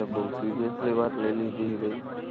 તે બોવ સીર્યસલી વાત લય લીધી ઇ બધી